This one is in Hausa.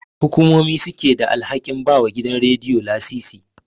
Hukumomi suke da alhakin bawa gidajen Radiyo lasisi.